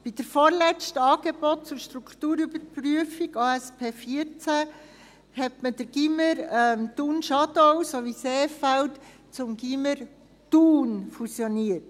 – Bei der vorletzten Angebots- und Strukturüberprüfung, ASP 14, fusionierte man die Gymnasien Thun, Schadau sowie Seefeld zum «Gymnasium Thun».